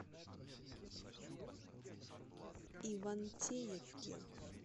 ивантеевке